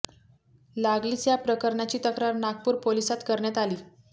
लागलीच या प्रकरणाची तक्रार नागपूर पोलिसात करण्यात आली